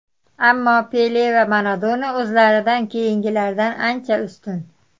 Ammo Pele va Maradona o‘zlaridan keyingilardan ancha ustun.